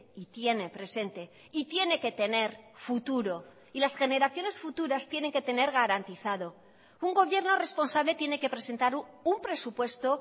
y tiene presente y tiene que tener futuro y las generaciones futuras tienen que tener garantizado un gobierno responsable tiene que presentar un presupuesto